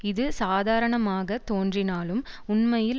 இது சாதாரணமாகத் தோன்றினாலும் உண்மையில்